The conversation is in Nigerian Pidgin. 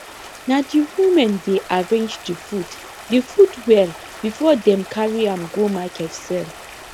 na the women dey arrange the food the food well before dem carry am go market sell